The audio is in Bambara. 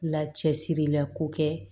Lacɛsirilako kɛ